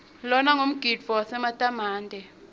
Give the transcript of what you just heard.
lona ngumgidvo wesimantemante